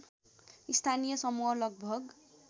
स्थानीय समूह लगभग